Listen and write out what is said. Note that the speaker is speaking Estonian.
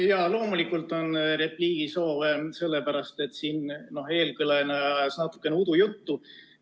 Jaa, loomulikult on repliigisoov, sellepärast et eelkõneleja ajas natukene udujuttu.